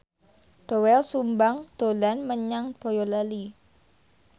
Doel Sumbang dolan menyang Boyolali